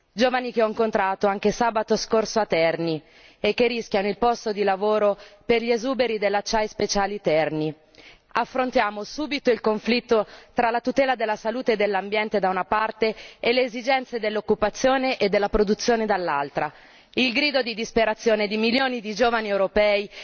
Giovani che ho incontrato anche sabato scorso a Terni e che rischiano il posto di lavoro per gli esuberi della Affrontiamo subito il conflitto tra la tutela della salute e dell'ambiente da una parte e le esigenze dell'occupazione e della produzione dall'altra. Il grido di disperazione di milioni di giovani europei